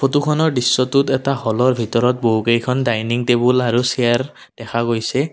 ফটোখনৰ দৃশ্যটোত এটা হ'লৰ ভিতৰত বহুকেইখন ডাইনিং টেবুল আৰু চেয়াৰ দেখা গৈছে।